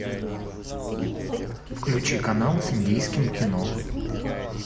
включи канал с индийским кино